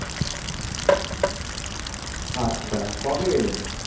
আচ্ছা কবে এলেন?